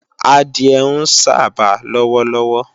Adìẹ ń sába lọ́wọ́lọ́wọ́